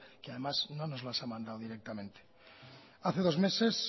que además no nos los ha mandado directamente hace dos meses